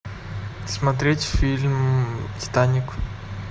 смотреть фильм титаник